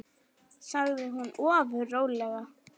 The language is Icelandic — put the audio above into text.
sagði hún ofur rólega.